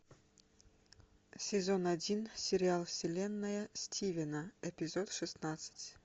сезон один сериал вселенная стивена эпизод шестнадцать